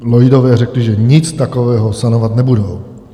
Lloydové řekli, že nic takového sanovat nebudou.